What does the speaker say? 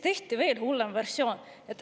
Tehti veel hullem versioon.